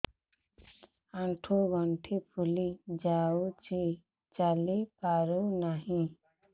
ଆଂଠୁ ଗଂଠି ଫୁଲି ଯାଉଛି ଚାଲି ପାରୁ ନାହିଁ